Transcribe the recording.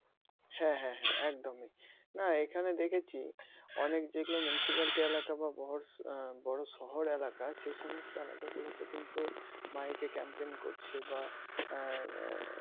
হ্যাঁ হ্যাঁ একদম না এখানে দেখেছি অনেক যেগুলো municipality এলাকায় বা বড় বড় শহর এলাকায় সে সমস্ত এলাকাগুলোতে কিন্তু মাইকে camping করছে বা আহ